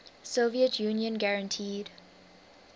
soviet union guaranteed